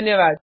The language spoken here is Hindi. धन्यवाद